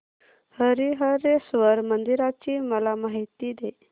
हरीहरेश्वर मंदिराची मला माहिती दे